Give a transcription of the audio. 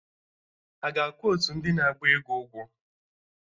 Aga akwụ ndị otu na-agba egwu ụgwọ?